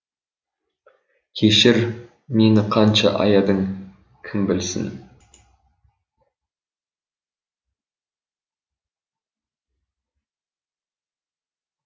кешір мені қанша аядың кім білсін